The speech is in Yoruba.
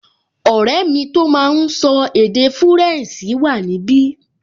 Ọ̀rẹ́ mi tó máa n sọ èdè fúrẹ̀nsì wà níbi